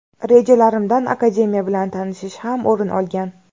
Rejalarimdan akademiya bilan tanishish ham o‘rin olgan.